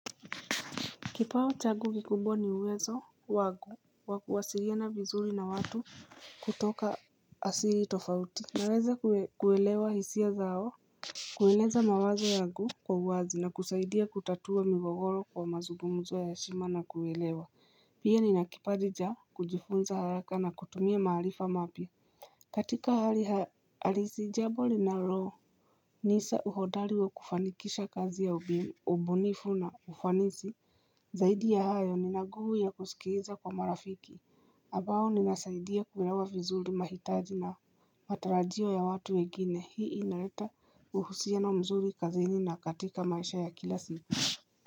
Kipawa changu kikubwa ni uwezo wangu wa kuwasiliana vizuri na watu kutoka asili tofauti Naweza kuelewa hisia zao kueleza mawazo yangu kwa uwazi na kusaidia kutatua migogoro kwa mazugumzo ya heshima na kuelewa Pia ni na kipaji cha kujifunza haraka na kutumia maharifa mapia katika hali halisi jambo linalo Nisa uhodari wa kufanikisha kazi ya ubunifu na ufanisi Zaidi ya hayo ni na nguvu ya kusikiza kwa marafiki ambao ninasaidia kuwelewa vizuri mahitaji na matarajio ya watu wengine Hii inaleta uhusiano mzuri kazini na katika maisha ya kila singa.